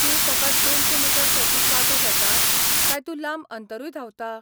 तूं फकत दोनशे मीटर सर्तींत वांटो घेता काय तूं लांब अंतरूय धांवता?